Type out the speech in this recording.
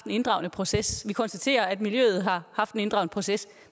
en inddragende proces at konstaterer at miljøet har haft en inddragende proces